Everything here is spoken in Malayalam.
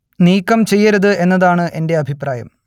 നീക്കം ചെയ്യരുത് എന്നതാണ് എന്റെ അഭിപ്രായം